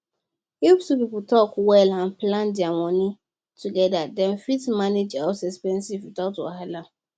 if two people talk well and plan their money together dem fit manage house expenses without wahala